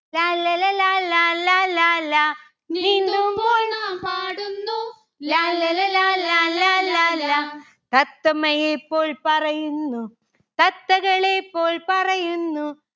ലാല്ലല ലാലാ ലാലാ ലാ. നീന്തുമ്പോൾ നാം പാടുന്നു ലാല്ലല ലാലാ ലാലാ ലാ. തത്തമ്മയെ പോൽ പറയുന്നു. തത്തകളെ പോൽ പറയുന്നു